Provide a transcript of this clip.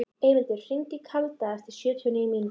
Eyvindur, hringdu í Kalda eftir sjötíu og níu mínútur.